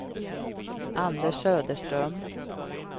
Anders Söderström